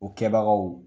O kɛbagaw